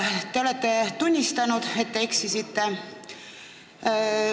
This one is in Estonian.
Te olete tunnistanud, et te eksisite.